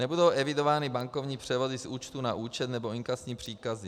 Nebudou evidovány bankovní převody z účtu na účet nebo inkasní příkazy.